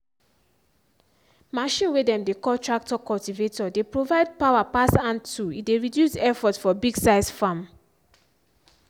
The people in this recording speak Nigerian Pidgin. machine way dem dey call tractor cultivator dey provide power pass hand tool e dey reduce effort for big size farm.